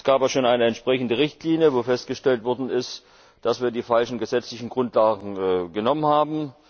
Es gab auch schon eine entsprechende Richtlinie, wo festgestellt worden ist, dass wir die falschen gesetzlichen Grundlagen genommen haben.